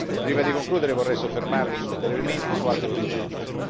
Prima di concludere, vorrei soffermarmi brevemente su altri due punti.